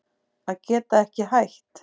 Að geta ekki hætt